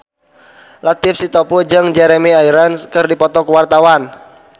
Latief Sitepu jeung Jeremy Irons keur dipoto ku wartawan